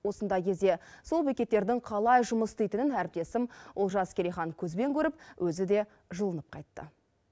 осындай кезде сол бекеттердің қалай жұмыс істейтінін әріптесім олжас керейхан көзбен көріп өзі де жылынып қайтты